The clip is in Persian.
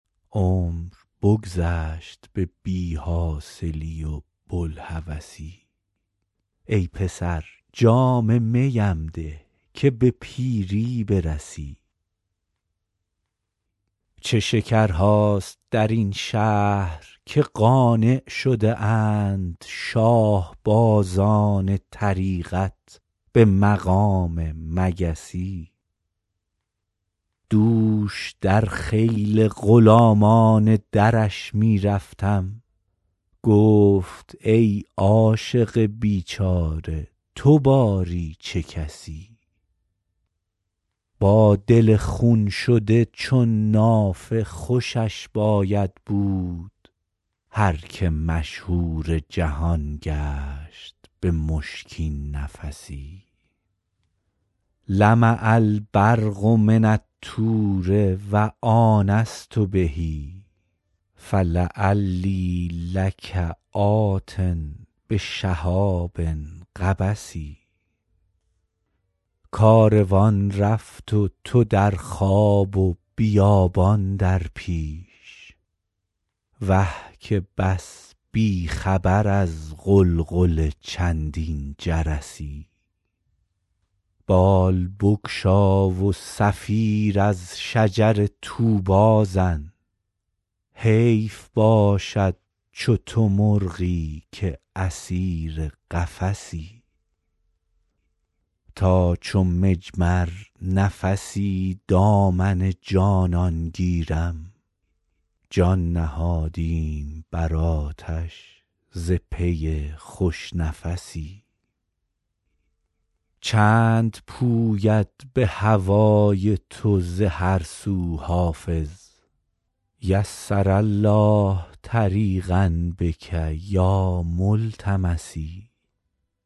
عمر بگذشت به بی حاصلی و بوالهوسی ای پسر جام می ام ده که به پیری برسی چه شکرهاست در این شهر که قانع شده اند شاه بازان طریقت به مقام مگسی دوش در خیل غلامان درش می رفتم گفت ای عاشق بیچاره تو باری چه کسی با دل خون شده چون نافه خوشش باید بود هر که مشهور جهان گشت به مشکین نفسی لمع البرق من الطور و آنست به فلعلی لک آت بشهاب قبس کاروان رفت و تو در خواب و بیابان در پیش وه که بس بی خبر از غلغل چندین جرسی بال بگشا و صفیر از شجر طوبی زن حیف باشد چو تو مرغی که اسیر قفسی تا چو مجمر نفسی دامن جانان گیرم جان نهادیم بر آتش ز پی خوش نفسی چند پوید به هوای تو ز هر سو حافظ یسر الله طریقا بک یا ملتمسی